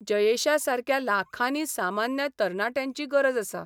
जयेशासारक्या लाखांनी सामान्य तरणाट्यांची गरज आसा.